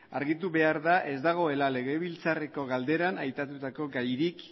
argitu behar da ez dagoela legebiltzarreko galderan aipatutako gairik